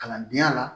Kalandenya la